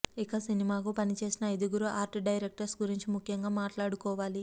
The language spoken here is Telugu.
ఇక సినిమాకు పనిచేసిన ఐదుగురు ఆర్ట్ డైరెక్టర్స్ గురించి ముఖ్యంగా మాట్లాడుకోవాలి